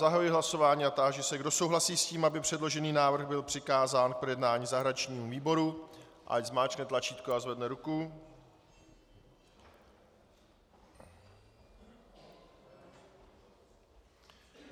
Zahajuji hlasování a táži se, kdo souhlasí s tím, aby předložený návrh byl přikázán k projednání zahraničnímu výboru, ať zmáčkne tlačítko a zvedne ruku.